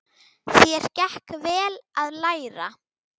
Þér gekk vel að læra.